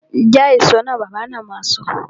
Ja èso náà! Bàbá na ma sọ